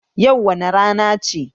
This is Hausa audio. Yau wace rana ce?